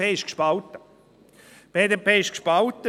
Die BDP ist gespalten.